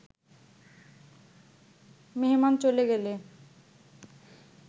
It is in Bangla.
মেহমান চলে গেলে